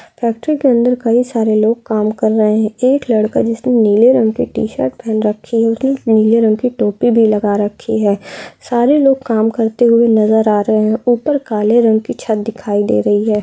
Factory के अंदर कई सारे लोग काम कर रहे है। एक लड़का जिसने नीले रंग की टीशर्ट पहन रखी है। उसने नीले रंग की टोपी भी लगा रखी है। सारे लोग काम करते हुए नज़र आ रहे है। ऊपर काले रंग की छत दिखाई दे रही है।